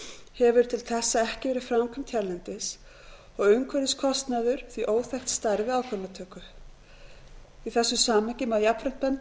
hefur til þessa ekki verið framkvæmd hérlendis og umhverfiskostnaður því óþekkt stærð við ákvörðunartöku í þessu samhengi má jafnframt benda á